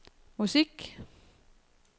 musik